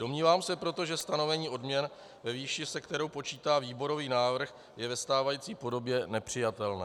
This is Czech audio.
Domnívám se proto, že stanovení odměn ve výši, se kterou počítá výborový návrh, je ve stávající podobě nepřijatelné.